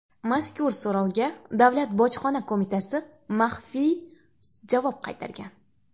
Mazkur so‘rovga Davlat bojxona qo‘mitasi maxfiy javob qaytargan .